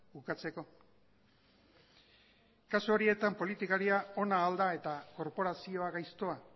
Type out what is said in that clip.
ukatzeko kasu horietan politikaria ona al da eta korporazioa gaiztoa